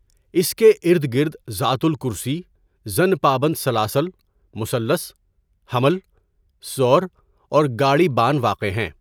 اس کے اردگرد ذات الکرسی، زن پابند سلاسل، مثلث، حمل، ثور اور گاڑی بان واقع ہیں.